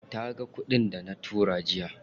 Taga kuɗin dana tura jiya.